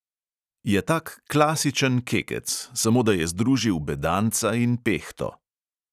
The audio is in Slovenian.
Je tak klasičen kekec, samo da je združil bedanca in pehto.